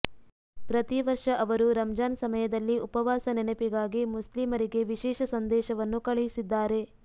ಪ್ರತಿ ವರ್ಷ ಅವರು ರಂಜಾನ್ ಸಮಯದಲ್ಲಿ ಉಪವಾಸ ನೆನಪಿಗಾಗಿ ಮುಸ್ಲಿಮರಿಗೆ ವಿಶೇಷ ಸಂದೇಶವನ್ನು ಕಳುಹಿಸಿದ್ದಾರೆ